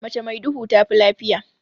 Mace mai duhu tafi lafiya.